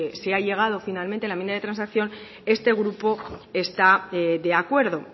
se ha llegado finalmente la enmienda de transacción este grupo está de acuerdo